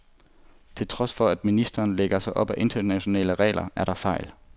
Til trods for, at ministeren lægger sig op ad internationale regler, er der fejl.